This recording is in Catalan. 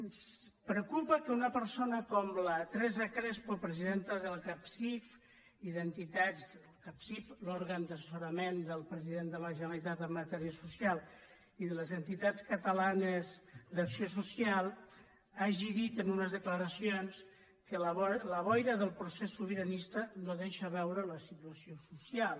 ens preocupa que una persona com la teresa crespo presidenta del capsif l’òrgan d’assessorament del president de la generalitat en ma·tèria social i de les entitats catalanes d’acció social hagi dit en unes declaracions que la boira del procés sobiranista no deixa veure la situació social